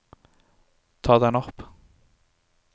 ta den opp